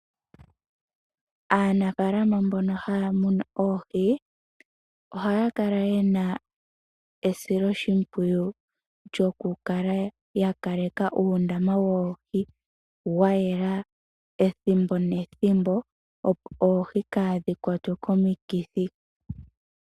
Aanafaalama mbono haya munu oohi ohaya kala ye na esilo shimpwiyu lyokukala yakaleka uundama woohi wayela ethimbo nethimbo opo oohi kaadhi kwatwe komikithi.